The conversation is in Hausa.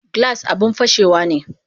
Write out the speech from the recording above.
Glass abun fashewane